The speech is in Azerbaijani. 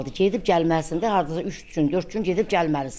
Gedib gəlməlisən də, hardasa üç gün, dörd gün gedib gəlməlisən.